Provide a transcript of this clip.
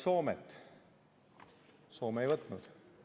Soome ei võtnud.